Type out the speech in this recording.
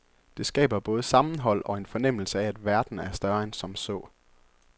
Det skaber både sammenhold og en fornemmelse af, at verden er større end som så.